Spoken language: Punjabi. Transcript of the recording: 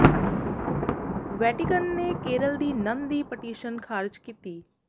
ਵੈਟੀਕਨ ਨੇ ਕੇਰਲ ਦੀ ਨਨ ਦੀ ਪਟੀਸ਼ਨ ਖਾਰਜ ਕੀਤੀ